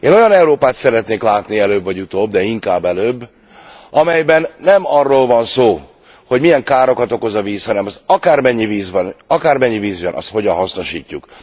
Én olyan Európát szeretnék látni előbb vagy utóbb, de inkább előbb, amelyben nem arról van szó, hogy milyen károkat okoz a víz, hanem hogy akármennyi víz van, akármennyi víz jön, azt hogyan hasznosítjuk.